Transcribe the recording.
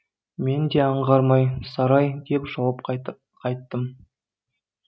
менде аңғармай сарай деп жауап қайттым